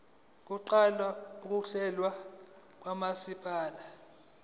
kuqala ukuhlolwa kwamasampuli